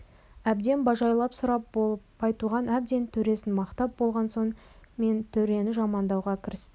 әбден бажайлап сұрап болып байтуған әбден төресін мақтап болған соң мен төрені жамандауға кірістім